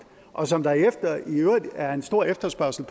og som der i øvrigt er en stor efterspørgsel